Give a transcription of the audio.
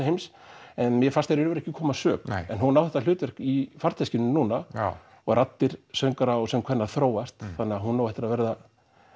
heims en mér fannst það í raun ekki koma að sök en hún á þetta hlutverk í farteskinu núna og raddir söngvara þróast þannig að hún á eftir að verða